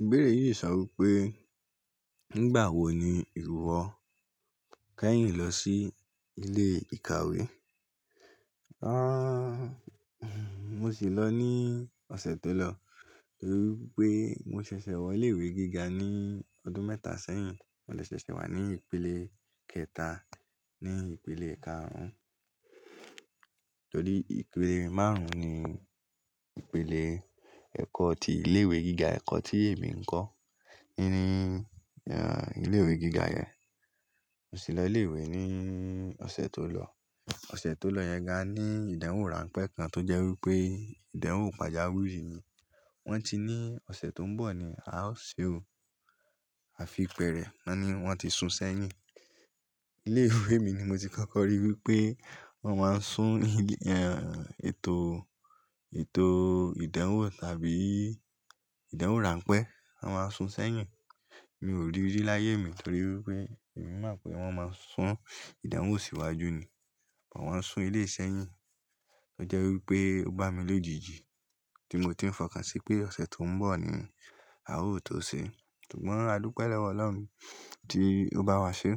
Ìbéèrè yìí sọ wí pé, nígbà wo ni ìwọ kẹ́yìn lọ sí ilé ìkàwé? Rárá, mo sì lọ ní ọ̀sẹ̀ tó lọ torí pé mo ṣẹ̀ṣẹ̀ wọ ilé ìwé gíga ní ọdún mẹ́ta sẹ́yìn, mo lè ṣẹ̀ṣẹ̀ wà ní ìpele kẹta ní ìpele karùn ún, torí ìpele márùn ún ni ìpele ẹ̀kọ́ ti ilé ìwé gíga, ẹ̀kọ́ tí èmi ń kọ́ nínú, ehn, ilé ìwé gíga yẹn. Mo sì lọ ilé ìwé ní ọ̀sẹ̀ tó lọ. Ọ̀sẹ̀ tó lọ yẹn ga ní ìdánwò ránpẹ́ kan tó jẹ́ wí pé ìdánwò pàjáwìrì ni. Wọ́n ti ní ọ̀sẹ̀ tó ń bọ̀ ni a ó ṣe òò, àfi pẹ́ẹ̀rẹ̀, wọ́n ní wọ́n ti sun sẹ́yìn. Ilé ìwé mi ni mo ti kọ́kọ́ ríi wí pé wọ́n máa ń sun, ehn, ètò, ètò ìdánwò tàbí ìdánwò ránpẹ́, wọ́n máa ń sun sẹ́yìn. Mi ò rí i láyé mi torí wí pé èmi mọ̀ pé wọ́n máa ń sun ìdánwò síwájú ni, wọ́n wa sun ilé sẹ́yìn, ó jẹ́ wí pé ó bá mi lójijì tí mo ti ń fọkàn sí pé ọ̀sẹ̀ tó ń bọ̀ ni a ó tó ṣe. Ṣùgbọ́n, adupẹ́ lọ́wọ́ Ọlọ́run tí ó bá wa ṣe.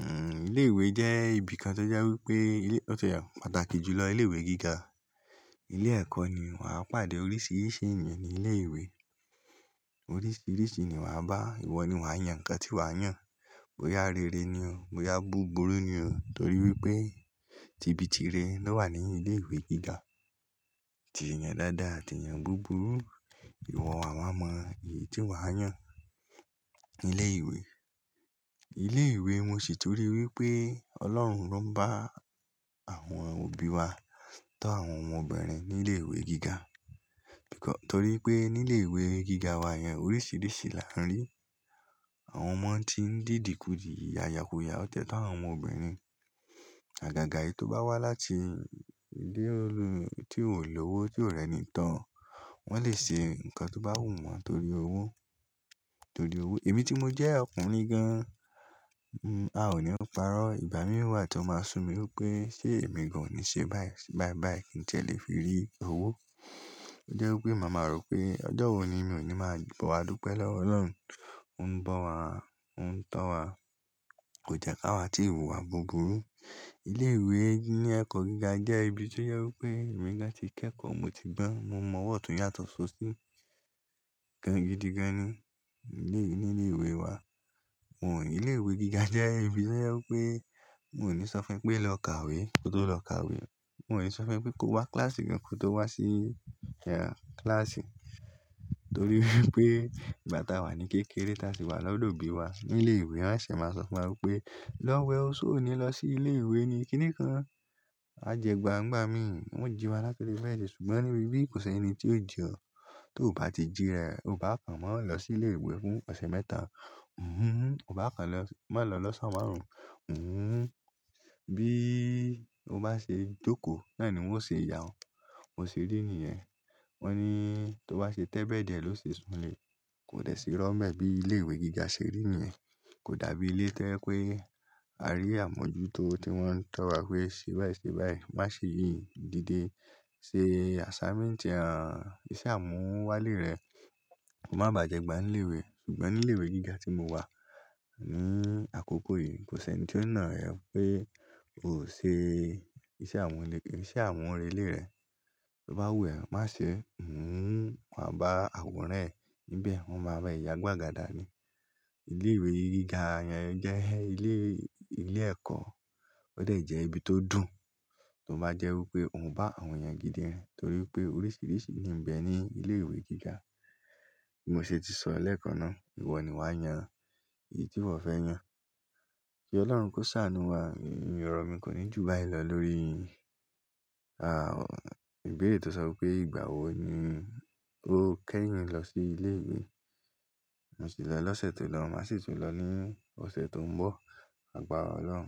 Ehn, ilé ìwé jẹ́ ibi kan tó jẹ́ wí pé ó ṣe pàtàkì jù lọ ilé ìwé gíga. Ilé ẹ̀kọ́ ni wàá pàdé oríṣiríṣi ènìyàn ní ilé ìwé. Oríṣiríṣi ènìyàn wà bá, ìwọ ni wàá yàn ǹkan tí wàá yàn. Bọ́yà rere ni o, bọ́yà búburú ni o torí wí pé tìbí tìrẹ ló wà ní ilé ìwé gíga. Atì yàn dáadáa, atì yàn búburú, ìwọ wà wáa mọ èyí tí wàá yàn ní ilé ìwé. Ilé ìwé mo ṣì torí wí pé Ọlọ́run loun bá àwọn òbí wa tó àwọn ọmọbìnrin ní ilé ìwé gíga. Tó rí i pé ní ilé ìwé gíga wa yẹn oríṣiríṣi là ń rí. Àwọn ọmọ tí ń dìdì kú dì, yaya ku yaya, ó tẹ́tọ́ àwọn ọmọbìnrin. Àgàgà yìí tó bá wá láti ilé tí ò ń lọ́wọ́, tí ò rẹ́ni tán, wọ́n lè ṣe ǹkan tó bá wù wọ́n torí owó, torí owó. Èmi tí mo jẹ́ ọkùnrin gan-an, n, a ò ní o parọ́. Ìgbà mìíràn wà tí wọ́n máa sùn mí wí pé ṣé èmi kò ní ṣe báyìí, ṣe báyìí báyìí kí n lè fi rí owó. Ó jẹ́ wí pé màá mọ̀ pé ọjọ́ wo ni mi ò ní máa gba. Ó wa dúpẹ́ lọ́wọ́ Ọlọ́run, Ó ń bọ̀ wá, Ó ń tọ́ wá. Kò jẹ́ ká wá tí wun iwa wà búburú. Ilé ìwé ní ẹ̀kọ́ gíga jẹ́ ibi tí ó yẹ wí pé èmi nígbà tí kẹ́kọ̀ọ́ mo ti gbọ́n, mo mọ ọ̀tún yàtọ̀ so sí gan gidiganni ní ilé ìwé wa. Wọn ò ní ilé ìwé gíga jẹ́ ibi tí ó yẹ wí pé n ò ní sọ fún ẹ pé lọ kàwé kó tó lọ kàwé. Wọn ò ní sọ fún ẹ pé kó wá kíláàsì kan kó tó wá sí, ehn, kíláàsì torí wí pé ìgbà táa wà ní kékeré táa sì wà lọ́dọ̀ òbí wa ní ilé ìwé, wọ́n ṣì máa sọ fún wa wí pé, "Lọ wẹ òsó òní, lọ sí ilé ìwé ni kíní kan, má jẹ egba ǹigbà mi." Wọ́n jí wa láti ori beedi ṣùgbọ́n níbí yìí kò ṣe ẹni tí yóò ji ọ tó bá ti jí ra e, o kò bá ka mọ́ lọ sí ilé ìwé fún ọ̀sẹ̀ mẹ́ta, n òun, o kò bá ka mọ́ lọ lọ́sà márùn ún, n òun. Bí o bá ṣe jókòó náà ni wọn ó ṣe yà ọ. Bo ṣe rí i nìyẹn. Wọ́n ní tó bá ṣe tẹ́bẹ́ẹ̀dì ẹ ló ṣe sùn lè. Kò dẹ̀ sí iró nbe bi ilé ìwé gíga ṣè rí nìyẹn. Kò dàbí ilé to jẹ pé a rí àmójútó tí wọ́n ń tọ wa pé ṣe báyìí ṣe báyìí, má ṣe yìí dídé, ṣe assignment re, ṣe àmúwálé rẹ, ko má bàá j'egba ní ilé ìwé. Ṣùgbọ́n ní ilé ìwé gíga tí mo wà ní àkókò yìí, kò ṣe ẹni tí ó ná ẹ pé o ò ṣe iṣẹ́ àwọn ilé, iṣẹ́ àmurele rẹ́. Tó bá wù ẹ, má ṣe n òun, wọ́n á bá àworan ẹ níbẹ̀, wọ́n máa bá ẹ yà ni gbàgàdà ni. Ilé ìwé gíga yẹn jẹ́ ilé, ilé ẹ̀kọ́, ó dẹ̀ jẹ́ ibi tó dùn tó bá jẹ́ wí pé òun bá àwọn ènìyàn gidi rin, torí pé oríṣiríṣi ni ń bẹ ní ilé ìwé gíga. Mo sì ti sọ lẹ́ẹ̀kan náà, ìwọ ni wàá yàn èyí tí ìwọ fẹ́ yàn. Kí Ọlọ́run kó ṣàánú wá. Oro mi kò ní jù báyìí lọ lórí, ah, ìbéèrè tó sọ wí pé ìgbà wo ni o kẹ́yìn lọ sí ilé ìwé. Mo sì lọ lọ́sẹ̀ tó lọ, mà sì tún lọ ní ọ̀sẹ̀ tó ń bọ̀ àgbàrá Ọlọ́run.